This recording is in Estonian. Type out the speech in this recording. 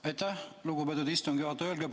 Aitäh, lugupeetud istungi juhataja!